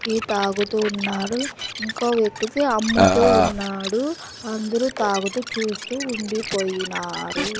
Tea తాగుతూ ఉన్నారు ఇంకో వ్యక్తితే అమ్ముతూ ఉన్నాడు అందరూ తాగుతూ చూస్తూ ఉండిపొయ్యినారు.